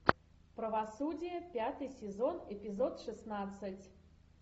правосудие пятый сезон эпизод шестнадцать